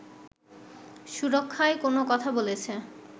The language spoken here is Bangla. সুরক্ষায় কোনো কথা বলেছে